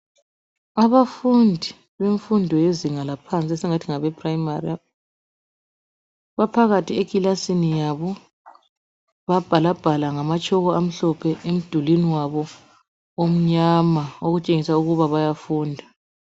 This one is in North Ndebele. Abafundi bezinga laphansi esingathi ngabe primary baphakathi ekilasini yabo babhalabhala ngamatshoko amhlophe emdulini wabo omnyama okutshengisa ukuba bayafunda.